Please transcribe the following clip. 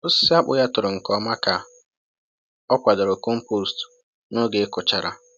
Osisi akpụ ya toro nke ọma ka ọ kwadoro compost n’oge ịkụchara.